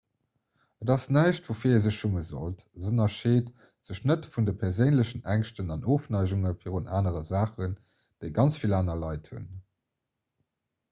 et ass näischt woufir ee sech schumme sollt se ënnerscheet sech net vun de perséinlechen ängschten an ofneigunge virun anere saachen déi ganz vill aner leit hunn